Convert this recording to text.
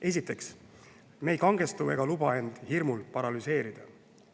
Esiteks, me ei kangestu ega luba hirmul end paralüseerida.